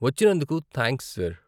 వచ్చినందుకు thanks, sir.